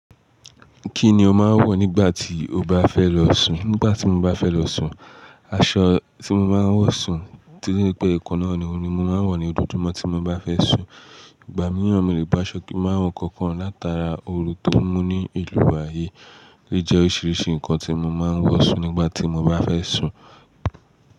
Kí ni o máa ń wọ̀ nígbà tí o bá fẹ́ lọ sùn? Nígbà tí mo bá fẹ́ lọ sùn, aṣọ tí mo máa ń wọ̀ sùn tí ri pé nnkan náà ni, òun ni mo máa ń wọ̀ ní ojojúmọ̀ tí mo bá fẹ́ sùn. Ìgbà míràn mọ lé bo aṣọ kí ń máa wọ̀ kankan látara oru tó mú ní ìlú wa yi. Eleyi jẹ́ oríṣiríṣi nǹkan tí mo máa ń wọ̀ sùn nígbà tí mo bá fẹ́ sùn.